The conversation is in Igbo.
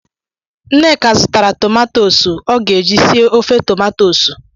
Nneka zụtara tomatosu ọ ga-eji sie ofe tomatosu.